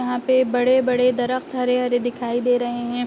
यहाँ पे बड़े-बड़े हरे-हरे दिखाई दे रहे है।